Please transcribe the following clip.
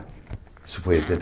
Isso foi em oitenta e.